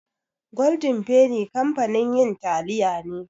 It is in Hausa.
Golden penny kamfanin yin taliya ne.